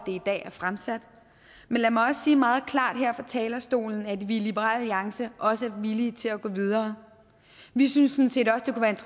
i dag er fremsat men lad mig også sige meget klart her fra talerstolen at vi i liberal alliance også er villige til at gå videre vi synes